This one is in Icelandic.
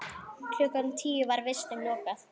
Klukkan tíu var vistum lokað.